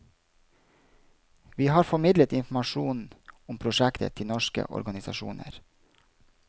Vi har formidlet informasjon om prosjektet til norske organisasjoner.